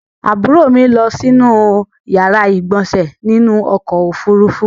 Àbúrò mi lọ si yàrá ìgbọ̀nsè nínú ọkò òfurufú.